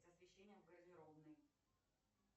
освещение в гардеробной